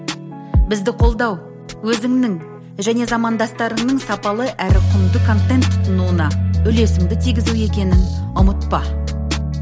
бізді қолдау өзіңнің және замандастарыңның сапалы әрі құнды контент тұтынуына үлесіңді тигізу екенін ұмытпа